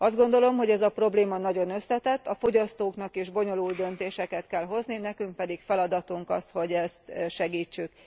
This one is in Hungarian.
Azt gondolom, hogy ez a probléma nagyon összetett, a fogyasztóknak is bonyolult döntéseket kell hozni, nekünk pedig feladatunk az, hogy ezt segítsük.